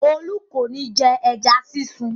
Olú kò ní jẹ ẹja sísun.